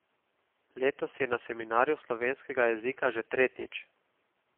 Letos je na seminarju slovenskega jezika tretjič.